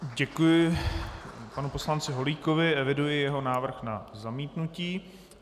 Děkuji panu poslanci Holíkovi, eviduji jeho návrh na zamítnutí.